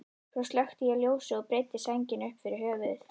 Svo slökkti ég ljósið og breiddi sængina upp fyrir höfuð.